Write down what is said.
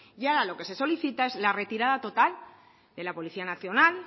y ahora lo que se solicita es la retirada total de la policía nacional